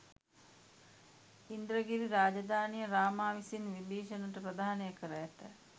ඉන්ද්‍රගිරි රාජධානිය රාමා විසින් විභිශණට ප්‍රධානය කර ඇත